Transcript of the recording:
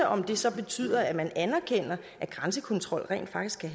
om det så betyder at man anerkender at grænsekontrol rent faktisk kan